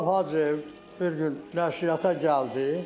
Rauf Hacıyev bir gün nəşriyyata gəldi.